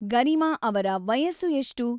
ಗರೀಮಾ ಅವರ ವಯಸ್ಸು ಎಷ್ಟು?